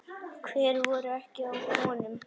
Hver voru ekki á honum?